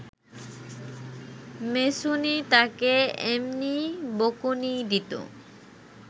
মেছুনী তাকে এমনি বকুনি দিত